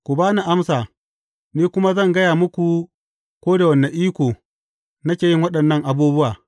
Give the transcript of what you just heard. Ku ba ni amsa, ni kuma zan gaya muku, ko da wane iko nake yin waɗannan abubuwa.